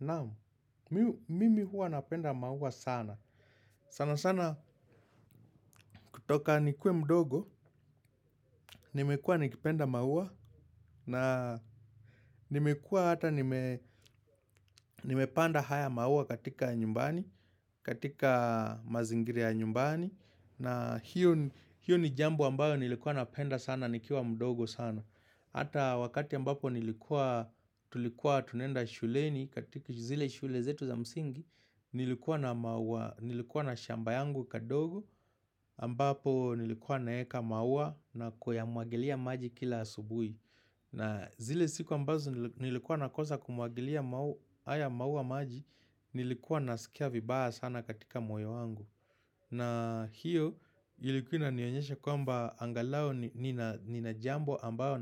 Naam, mimi huwa napenda maua sana sana sana kutoka nikuwe mdogo Nimekua nikipenda maua na nimekuwa hata nimepanda haya maua katika nyumbani katika mazingira ya nyumbani na hilo ni jambo ambalo nilikuwa napenda sana nikiwa mdogo sana Hata wakati ambao nilikuwa tunaenda shuleni katika zile shule zetu za msingi Nilikuwa na shamba yangu kadogo ambapo nilikuwa naweka maua na kuyamwagilia maji kila asubuhi na zile siku ambazo nilikuwa nakosa kumwagilia haya maua maji nilikuwa nasikia vibaya sana katika moyo wangu na hiyo ilikuwa inanionyesha kwamba angalau nina jambo ambalo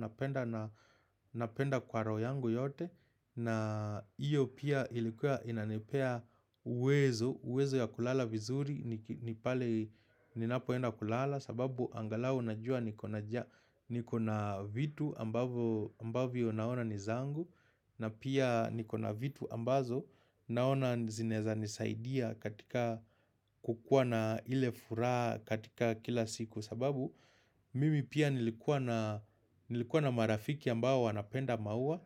napenda kwa roho yangu yote na hiyo pia ilikuwa inanepea uwezo uwezo wa kulala vizuri pale ninapoenda kulala sababu angalau najua nina vitu ambavyo naona ni vyangu na pia nikona vitu ambavyo naona zinaeza nisaidia katika kukuwa na ile furaha katika kila siku sababu mimi pia nilikuwa na marafiki ambao wanapenda maua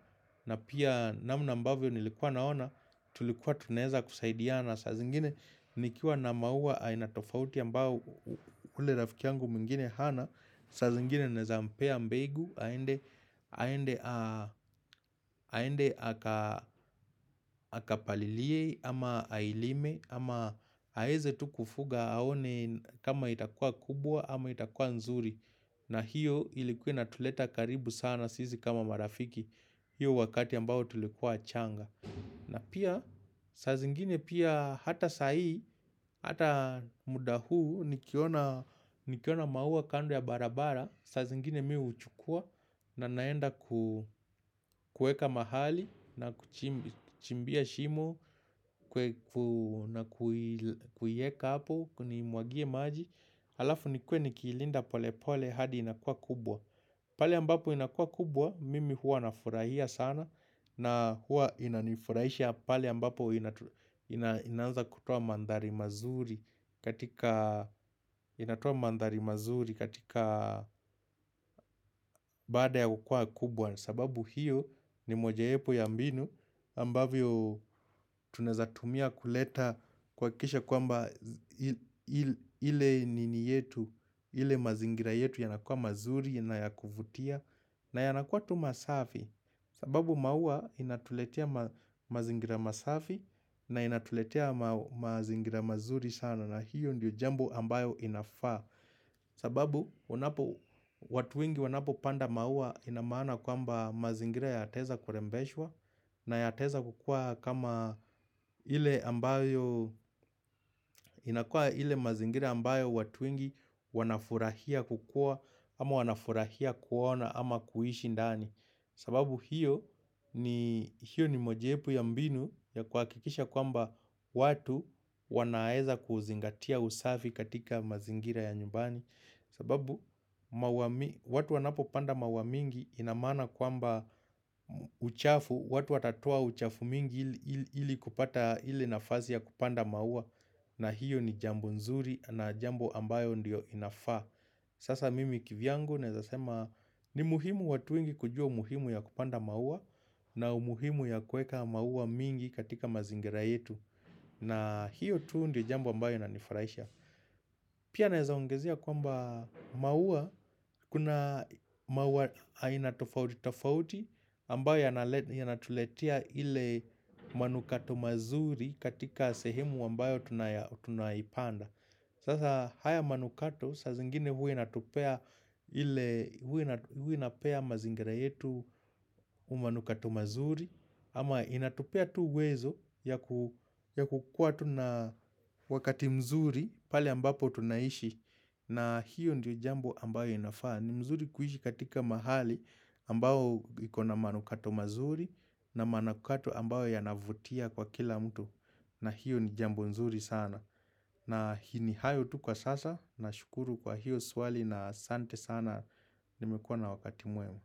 na pia namna mbavyo nilikuwa naona tulikuwa tunaeza kusaidia na saa zingine nikiwa na maua aina tofauti ambayo yule rafiki yangu mwingine hana saa zingine naeza mpa mbegu aende aende akapalilie ama ailime ama aaeze tu kufuga aone kama itakua kubwa ama itakua nzuri na hiyo ilikuwa inatuleta karibu sana sisi kama marafiki hiyo wakati ambao tulikuwa wachanga na pia saa zingine pia hata saa hii Hata muda huu nikiona maua kando ya barabara saa zingine mimi huuchukua na naenda kuweka mahali na kuchimbia shimo na kuiweka hapo kuimwagia maji Alafu niwe nikiilinda pole pole hadi inakua kubwa Pali ambapo inakuwa kubwa Mimi huwa na furahia sana na huwa inanifurahisha pale ambapo inaanza kutoa mandhari mazuri katika baada ya kukuwa kubwa. Sababu hiyo ni mojawapo ya mbinu ambavyo tuneza tumia kuleta kuhakikisha kwamba ile nini yetu, ile mazingira yetu yanakua mazuri, na ya kuvutia. Na yanakuwa tu safi sababu maua yanatuletia mazingira masafi na yanatuletea mazingira mazuri sana na hiyo ndiyo jambu ambayo inafaa sababu watu wengi wanapo panda maua inamana kwamba mazingira yaateza kurembeshwa na yataweza kukua kama ile ambayo inakua ile ya mazingira ambayo watu wengi wanafurahia kukua ama wanafurahia kuona ama kuishi ndani sababu hiyo ni mojapu ya mbinu ya kwa kikisha kwamba watu wanaeza kuzingatia usafi katika mazingira ya nyumbani sababu watu wanapo panda mau mingi inamana kwamba uchafu watu watatoa uchafu mingi ili kupata ilie nafasi ya kupanda maua na hiyo ni jambo nzuri na jambo ambayo ndio inafaa Sasa mimi kivyangu neza sema ni muhimu watu wengi kujua umuhimu ya kupanda maua na umuhimu ya kueka maua mingi katika mazingira yetu na hiyo tu ndio jambo tu ambayo inanifurahisha Pia naezaongezea kwamba kuna maua aina tofauti tofauti ambayo yanayotuletea ile manukato mazuri katika sehemu ambayo tunaipanda. Sasa haya manukato, saa zingine hua inatupea ile inapea mazingira yetu umanukato mazuri, ama inapea tu wezo ya kukua tu na wakati mzuri pali ambapo tunaishi na hiyo ndiyo jambo ambayo inafaa. Ni mazuri kuishi katika mahali ambao ikona manu kato mazuri na manukato ambayo yanavutia kwa kila mtu na hiyo ni jambo mzuri sana. Na ni hayo tu kwa sasa nashukuru kwa hiyo swali na asante sana nimekuwa na wakati mwema.